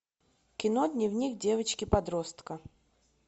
кино дневник девочки подростка